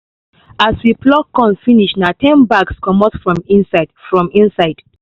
as we pluck corn finish na ten bags comot from inside from inside